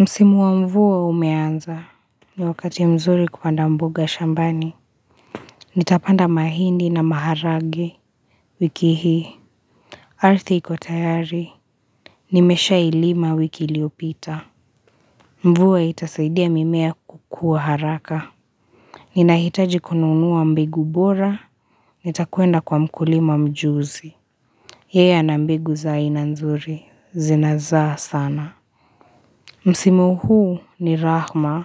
Msimu wa mvua umeanza ni wakati mzuri kupanda mboga shambani Nitapanda mahindi na maharagwe wiki hii Arthi ikotayari Nimesha ilima wiki iliopita mvua itasaidia mimea kukua haraka Ninahitaji kununuwa mbegu bora nitakuenda kwa mkulima mjuzi Yeya na mbigu zaina nzuri zinaza sana Msimu huu ni rahma